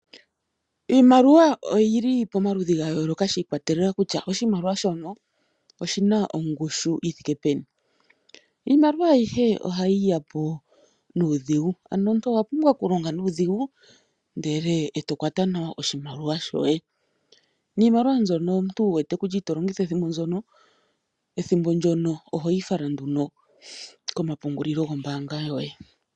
Iimaliwa oyyuli pomaludhi gayooloka shiikwatelela kutya oahimaliwa shono oshina ongushu yithike peni. Iimaliwa ayihe ohayi yapo nuudhigu ano omuntu owapumbwa okulonga nuudhigu ndele eto kwata nawa oshimaliwa shoye, niimaliwa mbyono omuntu wuwete kutya ito longitha ethimbo ndyono ohoyi fala nduno komapungulilo gombaanga yoye.